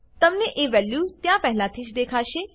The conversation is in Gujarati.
તમને એક વેલ્યુ ત્યાં પહેલાથી જ દેખાશે